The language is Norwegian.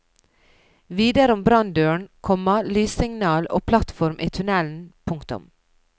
Videre om branndøren, komma lyssignal og plattform i tunnelen. punktum